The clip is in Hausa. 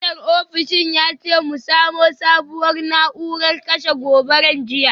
Manajan ofishin ya ce mu samo sabuwar na’urar kashe gobara jiya.